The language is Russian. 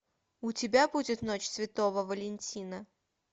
у тебя будет ночь святого валентина